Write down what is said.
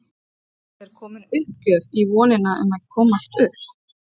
Er komin uppgjöf í vonina um að komast upp?